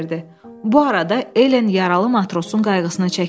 Bu arada Ellen yaralı matrosun qayğısını çəkirdi.